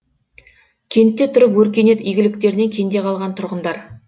кентте тұрып өркениет игіліктерінен кенде қалған тұрғындар